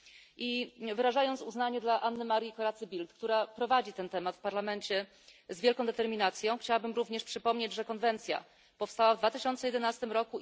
I wyrażając uznanie dla Anny Marii Corrazzy Bildt, która prowadzi ten temat w parlamencie z wielką determinacją, chciałabym również przypomnieć, że konwencja powstała w 2011 r.